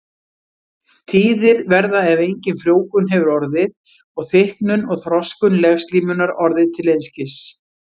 Tíðir verða ef engin frjóvgun hefur orðið og þykknun og þroskun legslímunnar orðið til einskis.